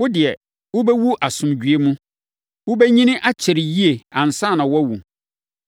Wo deɛ, wobɛwu asomdwoeɛ mu. Wobɛnyini akyɛre yie ansa na woawu.